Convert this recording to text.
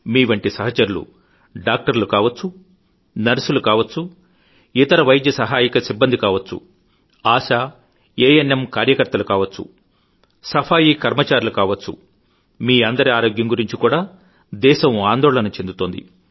మీవంటి సహచరులు డాక్టర్లు కావచ్చు నర్సులు కావచ్చు ఇతర వైద్య సహాయక సిబ్బంది కావచ్చుఆశా ఏఎన్ఎం కార్యకర్తలు కావచ్చు సఫాయీ కర్మచారులు కావచ్చు మీ అందరి ఆరోగ్యం గురించి కూడా దేశం ఆందోళన చెందుతోంది